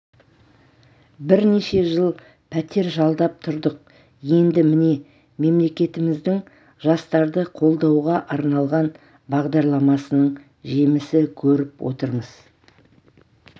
бірнеше жыл пәтер жалдап тұрдық енді міне мемлекетіміздің жастарды қолдауға арналған бағдарламасының жемісі көріп отырмыз